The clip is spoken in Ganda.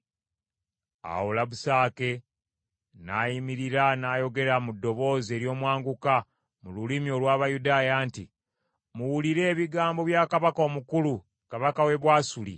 Awo Labusake n’ayimirira n’ayogera mu ddoboozi ery’omwanguka mu lulimi olw’Abayudaaya nti, “Muwulire ebigambo bya kabaka omukulu, kabaka w’e Bwasuli.